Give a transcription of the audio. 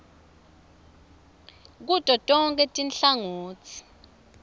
kuto tonkhe tinhlangotsi